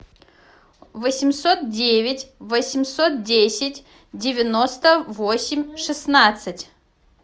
восемьсот девять восемьсот десять девяносто восемь шестнадцать